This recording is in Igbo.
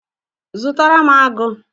Zụtara m agu